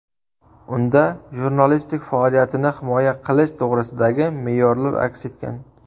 Unda jurnalistlik faoliyatini himoya qilish to‘g‘risidagi me’yorlar aks etgan.